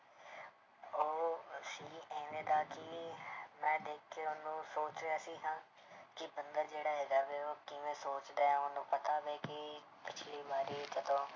ਉਹ ਸੀਗੀ ਇਵੇਂ ਦਾ ਕਿ ਮੈਂ ਦੇਖ ਕੇ ਉਹਨੂੰ ਸੋਚ ਰਿਹਾ ਸੀ ਹਾਂ ਕਿ ਬੰਦਾ ਜਿਹੜਾ ਹੈਗਾ ਵੀ ਉਹ ਕਿਵੇਂ ਸੋਚਦਾ ਹੈ, ਉਹਨੂੰ ਪਤਾ ਪਿੱਛਲੀ ਵਾਰੀ ਕਦੋਂ